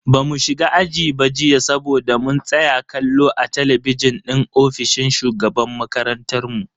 Bamu shiga aji ba jiya saboda mun tsaya kallo a talabijin din ofishin shugaban makarantan mu.